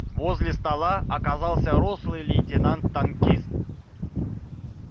возле стола оказался рослый лейтенант танкист